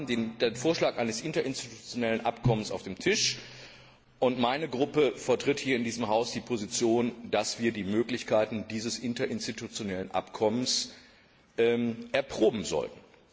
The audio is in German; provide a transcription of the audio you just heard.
Wir haben also den Vorschlag eines interinstitutionellen Abkommens auf dem Tisch, und meine Fraktion vertritt hier in diesem Haus die Position, dass wir die Möglichkeiten dieses interinstitutionellen Abkommens erproben sollten.